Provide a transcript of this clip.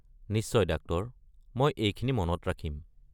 নিশ্চয়, ডাক্টৰ! মই এইখিনি মনত ৰাখিম।